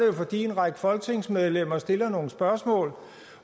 det fordi en række folketingsmedlemmer stiller nogle spørgsmål